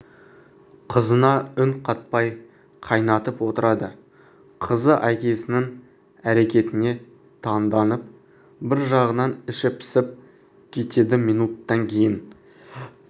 қызына үн қатпай қайнатып отырады қызы әкесінің әрекетіне таңданып бір жағынан іші пысып кетеді минуттан кейін